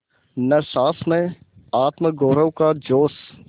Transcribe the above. न सास में आत्मगौरव का जोश